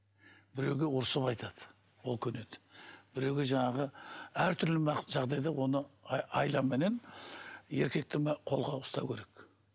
біреуге ұрысып айтады ол көнеді біреуге жанағы әртүрлі жағдайда оны айламенен еркекті мына қолға ұстау керек